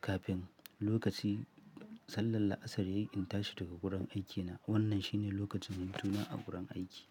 kafin lokacin sallar La'asar yayi in tashi daga gurin aikina. Wannan shine lokacin hutuna a gurin aiki.